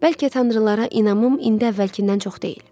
Bəlkə tanrılara inamım indi əvvəlkindən çox deyil.